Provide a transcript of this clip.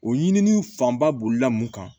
O ɲini fanba bolila mun kan